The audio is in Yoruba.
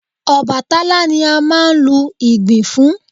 Ọbàtálá ni a máa ń lu Ìgbìn fún